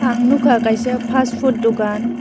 ang nogkha kaisa fastfood dokan.